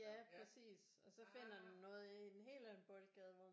Ja præcis og så finder den noget i en helt anden boldgade hvor man